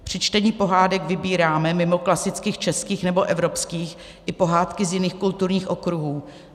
Při čtení pohádek vybíráme mimo klasických českých nebo evropských i pohádky z jiných kulturních okruhů.